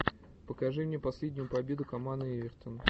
покажи мне последнюю победу команды эвертон